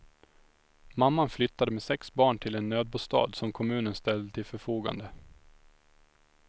Mamman flyttade med sex barn till en nödbostad som kommunen ställde till förfogande.